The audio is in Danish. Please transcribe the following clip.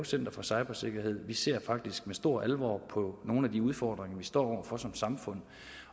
center for cybersikkerhed vi ser faktisk med stor alvor på nogle af de udfordringer vi står over for som samfund